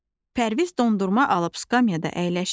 Pərviz dondurma alıb skamyada əyləşdi.